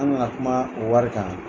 An na na kuma o wari kan.